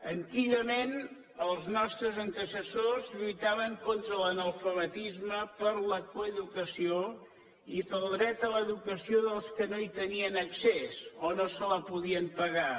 antigament els nostres antecessors lluitaven contra l’analfabetisme per la coeducació i pel dret a l’educació dels que no hi tenien accés o no se la podien pagar